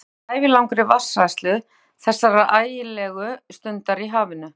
Hann fylltist ævilangri vatnshræðslu þessar ægilegu stundir í hafinu.